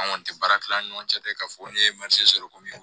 An kɔni tɛ baara kɛ an ni ɲɔgɔn cɛ tɛ k'a fɔ ne ye sɔrɔ komi